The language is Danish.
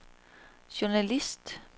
journalist